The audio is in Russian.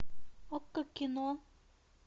окко кино